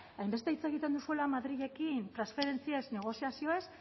hainbeste hitz egiten duzuela madrilekin transferentziez negoziazioez